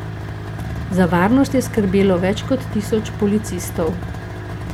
Za varnost je skrbelo več kot tisoč policistov.